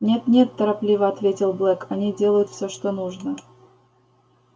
нет нет торопливо ответил блэк они делают всё что нужно